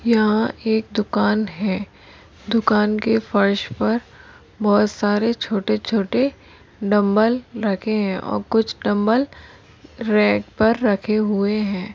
यहा एक दुकान है। दुकान के फर्श पर बहुत सारे छोटे-छोटे डंबल रखे है। और कुछ डंबल रैक पर रखे हुए है।